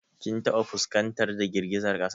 Kin taɓa fuskantar da girgizar kasa?